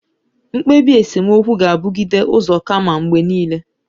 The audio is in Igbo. Mkpebi esemokwu gabugide uzo kamma mgbe niile.